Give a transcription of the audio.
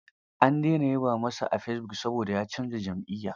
An dena yaba masa a fesibuk saboda ya canza jam'iyya.